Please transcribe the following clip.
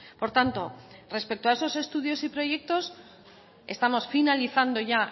por tanto respecto a esos estudios y proyectos estamos finalizando ya